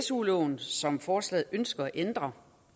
su loven som forslaget ønsker at ændre